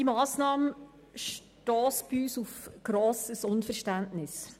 Die Massnahme stösst bei uns auf grosses Unverständnis.